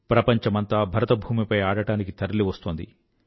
ప్రపంచమంతా భరతభూమిపై ఆడడానికి తరలివస్తోంది